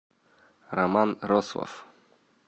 роман рослов